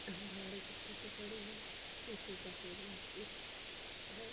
बाहर एक स्कूटी खड़ी है। शीशे का शोरूम दिख है।